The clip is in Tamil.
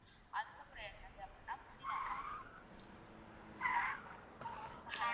அதுக்கப்புறம் என்னது அப்படின்னா புதினா ma'am